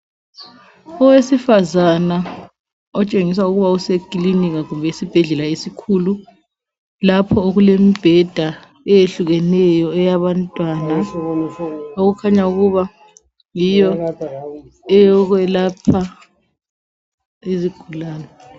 Owesifazana otshengisa ukuba usekilinika kumbe esibhedlela esikhulu lapho okulembheda eyehlukeneyo eyabantwana okukhanya ukuba yiyo eyokwelapha izigulane.